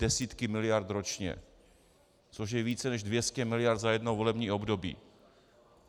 Desítky miliard ročně, což je více než 200 mld. za jedno volební období.